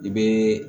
I bɛ